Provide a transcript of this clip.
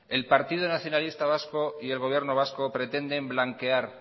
el partido nacionalista vasco y el gobierno vasco pretenden blanquear